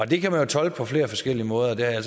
det kan man jo tolke på flere forskellige måder jeg har